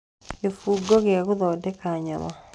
kĩbungo gĩa gũthondeka nyama